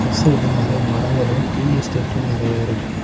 சைடுல நறையா மரங்களு டீ எஸ்டேட்டு நறைய இருக்கு.